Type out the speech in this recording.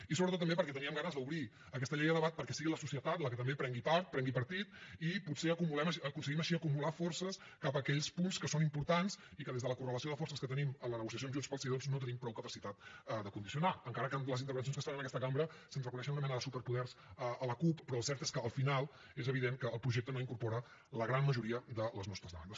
i sobretot també perquè teníem ganes d’obrir aquesta llei a debat perquè sigui la societat la que també en prengui part en prengui partit i potser aconseguim així acumular forces cap a aquells punts que són importants i que des de la correlació de forces que tenim en la negociació amb junts pel sí doncs no tenim prou capacitat de condicio nar encara que amb les intervencions que es fan en aquesta cambra se’ns reconeixen una mena de superpoders a la cup però el cert és que al final és evident que el projecte no incorpora la gran majoria de les nostres demandes